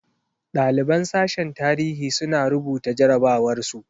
Ɗaliban sashen tarihi suna rubuta jarabawar su.